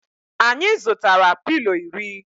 Anyi zutara pilo iri